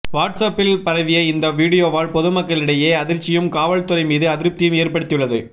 watts அப்பில் பரவிய இந்த வீடியோவால் பொதுமக்களிடையே அதிர்ச்சியும் காவல்துறை மீது அதிருப்தியையும் ஏற்படுத்தியுள்ளது